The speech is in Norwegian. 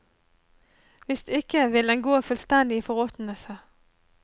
Hvis ikke vil den gå fullstendig i forråtnelse.